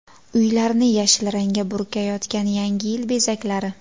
Uylarni yashil rangga burkayotgan Yangi yil bezaklari .